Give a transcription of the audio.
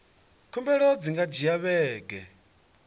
khumbelo dzi nga dzhia vhege